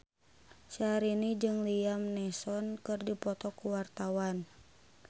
Syahrini jeung Liam Neeson keur dipoto ku wartawan